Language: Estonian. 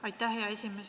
Aitäh, hea esimees!